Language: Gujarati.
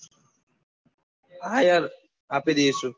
હા યાર આપી દઈશું